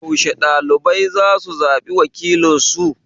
Yaushe ɓɗalibai zasu zaɓi wakilinsu?